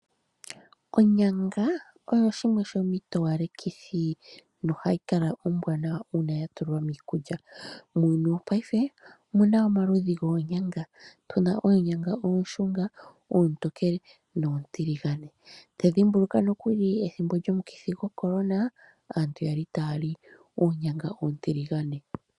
Onyanga oyo shimwe yomiitowalekithi nohayi kala ombwaanawa uuna ya tulwa miikulya . Muuyuni wongashingeyi omu na omaludhi goonyanga, tu na onyanga oonshunga, oontonkele noontiligane. Pethimbo lyoshivuCorona, aantu oyali taya li oonyanga oontiligane.